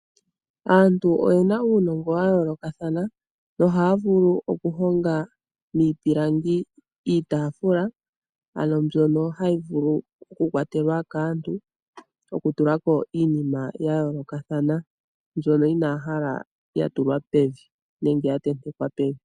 Aantu oyena uunongo wa yoolokathana. Ohaya ovulu okuhonga iitafula okuza miipilangi, mbyono hayi longithwa okukwatelwa kaantu, okutulako iinima ya yoolokathana, mbyono inaya hala ya tulwa nenge ya tentekwa pevi.